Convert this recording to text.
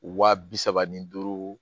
Wa bi saba ni duuru